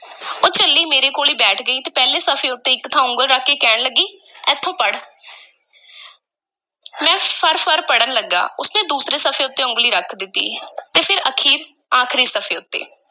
ਉਹ ਝੱਲੀ ਮੇਰੇ ਕੋਲ ਈ ਬੈਠ ਗਈ ਤੇ ਪਹਿਲੇ ਸਫ਼ੇ ਉੱਤੇ ਇੱਕ ਥਾਂ ਉੱਗਲੀ ਰੱਖ ਕੇ ਕਹਿਣ ਲੱਗੀ, ਐਥੋਂ ਪੜ੍ਹ ਮੈਂ ਫਰ-ਫਰ ਪੜ੍ਹਨ ਲੱਗਾ, ਉਸ ਨੇ ਦੂਸਰੇ ਸਫ਼ੇ ਉੱਤੇ ਉਂਗਲੀ ਰੱਖ ਦਿੱਤੀ ਤੇ ਫਿਰ ਅਖੀਰ ਆਖ਼ਰੀ ਸਫ਼ੇ ਉੱਤੇ।